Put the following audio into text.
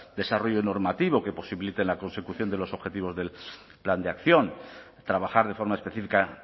desarrollo normativo que posibilite la consecución de los objetivos del plan de acción trabajar de forma específica